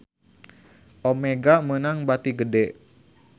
Omega meunang bati gede